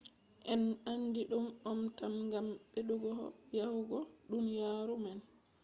en andi ɗum om tam gam ɓedduho yaajugo duniyaaru man